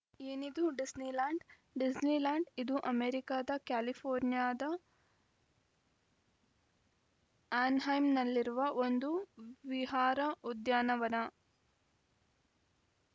ಏನಿದು Disneyland Disneyland ಇದು ಅಮೆರಿಕದ ಕ್ಯಾಲಿಫೋರ್ನಿಯಾದ ಆ್ಯನ್‌ಹೈಮ್‌ನಲ್ಲಿರುವ ಒಂದು ವಿಹಾರ ಉದ್ಯಾನವನ